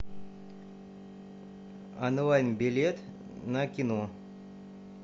онлайн билет на кино